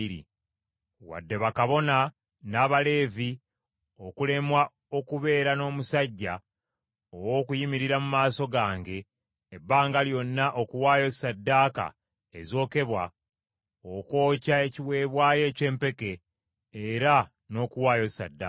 wadde bakabona, n’Abaleevi, okulemwa okubeera n’omusajja ow’okuyimirira mu maaso gange ebbanga lyonna okuwaayo ssaddaaka ezokebwa, okwokya ekiweebwayo eky’empeke era n’okuwaayo ssaddaaka.”